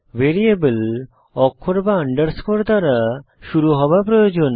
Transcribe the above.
variable অক্ষর বা underscore দ্বারা শুরু হওয়া প্রয়োজন